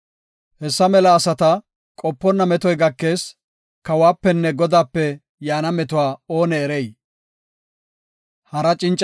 Hessa mela asata qoponna metoy gakees; kawuwapenne Godaape yaana meto oone erey?